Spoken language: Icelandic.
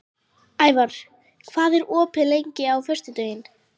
Ævar, hvað er opið lengi á föstudaginn?